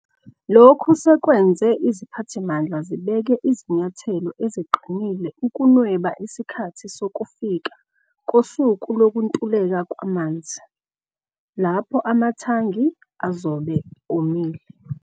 Lokhu sekwenze iziphathimandla zibeke izinyathelo eziqinile ukunweba isikhathi sokufika kosuku lokuntuleka kwamanzi, lapho amathangi azobe omile.